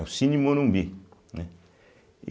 É o Cine Morumbi, né e.